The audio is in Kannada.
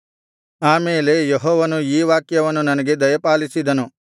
ಆಮೇಲೆ ಯೆಹೋವನು ಈ ವಾಕ್ಯವನ್ನು ನನಗೆ ದಯಪಾಲಿಸಿದನು